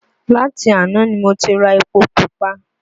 Láti àná ni mo ti ra epo pupa